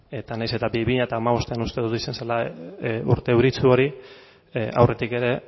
eta nahiz eta bi mila hamabostean uste dut izan zela urte euritsu hori aurretik ere